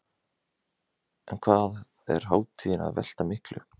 En hvað er hátíðin að velta miklu?